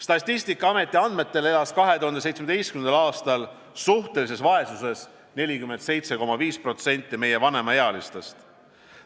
Statistikaameti andmetel elas 2017. aastal suhtelises vaesuses 47,5% meie vanemaealistest.